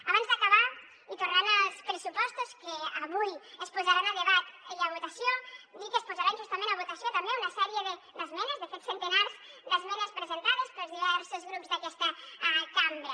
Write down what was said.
abans d’acabar i tornant als pressupostos que avui es posaran a debat i a votació dir que es posaran justament a votació també una sèrie d’esmenes de fet centenars d’esmenes presentades pels diversos grups d’aquesta cambra